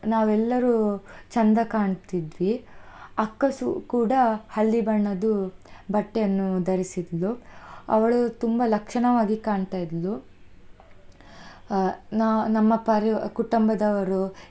ನಾವ್ ಎಲ್ಲರೂ ಚೆಂದ ಕಾಣ್ತಿದ್ವಿ ಅಕ್ಕ ಸು~ ಕೂಡ ಹಳದಿ ಬಣ್ಣದು ಬಟ್ಟೆಯನ್ನು ಧರಿಸಿದ್ಲು, ಅವಳು ತುಂಬಾ ಲಕ್ಷಣವಾಗಿ ಕಾಣ್ತಾ ಇದ್ಲು, ಆ ನಾ~ ನಮ್ಮ ಪರಿವ್~ ಕುಟುಂಬದವರು.